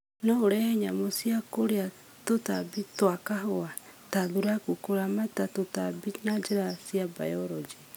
No urehe nyamũ cia kũrĩa tũtambi twa kahũa ta thuraku kũramata tũtambi na njĩra cia biology